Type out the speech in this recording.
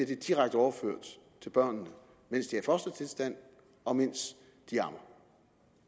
det direkte overført til børnene mens de er i fostertilstand og mens de dier